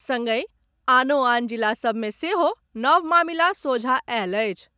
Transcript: संगहि आनो आन जिला सबमे सेहो नव मामिला सोझा आयल अछि।